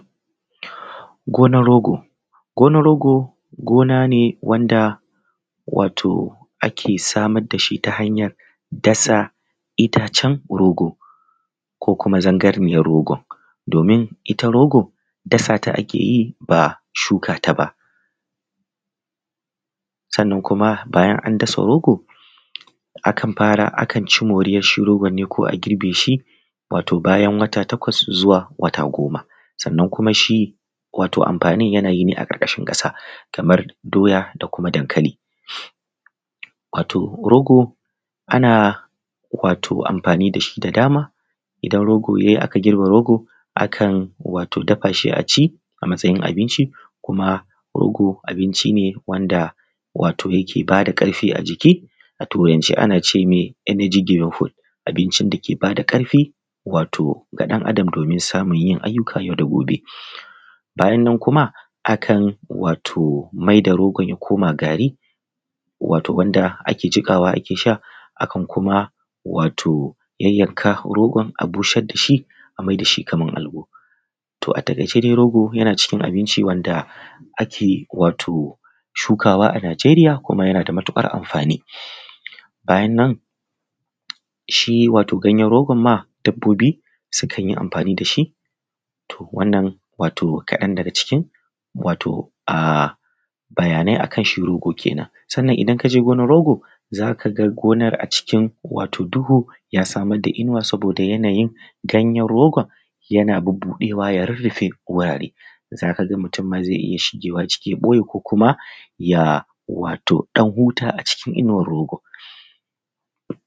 Gonar rogo gona rogo, gina ne wanda ake samar da shi ta hanyar dasa itacen rogo ko kuma zangarniyar rogo, domin it rogo dasa ta ake yi ba shukata ake yi ba. Sannan kuma bayan an dasa rogo akan ci moriyar rogo ne ko girbe shi wato bayan wata takwas zuwa goma Sannan kuma shi amfani yana yin amfanin ne a karkashin ƙasa kamar doya da kuma dankali. Wato rogo ana amfani da shi da dama idan rogo yi aka girbe rogo akan dafa Shi a ci a matsayin abinci. Kuma rogo shi ne wanda yake ba da ƙarfi a jiki a turance ana ce mai energy green food, wato abincin dake ba da ƙarfi ga ɗan Adam domin samun yin ayyukan yau da gobe. Bayan nan kuma akan maida rogon ya koma gari wanda ake jiƙawa ake sha akan kuma yayyanka a busar da shi kamar alabo. A takaice dai rogo yana cikin abinci wanda ake shukawa a Nijeriya kuma yana da amfani. Bayan nan shi wato ganyen rogon ma sukan yi amfani da shi, to wannan kaɗan daga cikin bayanai akan shi rogo kenan. Sannan idan ka je ginar rogo za ka ga gonar a cikin duhu ya samar da inuwa saboda yanayin ganyen rogon yana budewa ya rurrufe wurare za ka ga mutum ma zai iya shigewa cikin ya boye ko kuma ya ɗan huta a cikin inuwar rogon.